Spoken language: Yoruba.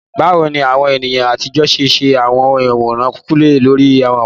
Báwo ni àwọn ènìyàn àtijọ́ ṣe ṣe àwọn àwòrán kúlẹ̀kúlẹ̀ lórí amọ̀?